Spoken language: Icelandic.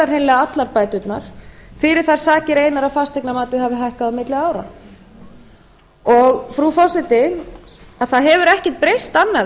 hreinlega allar bæturnar fyrir þær sakir einar að fasteignamatið hafði hækkað á milli ára frú forseti að hefur ekkert breyst annað